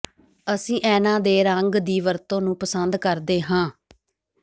ਅਸੀਂ ਐਨਾ ਦੇ ਰੰਗ ਦੀ ਵਰਤੋਂ ਨੂੰ ਪਸੰਦ ਕਰਦੇ ਹਾਂ